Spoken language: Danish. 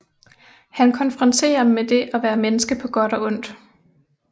Han konfronterer med det at være menneske på godt og ondt